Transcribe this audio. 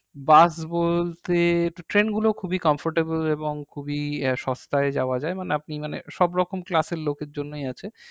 বাস বলতে train গুলো খুবই comfortable এবং খুবই আহ সস্তায় যাওয়া যাই মানে আপনি মানে সব রকম class এর লোকের জন্যই আছে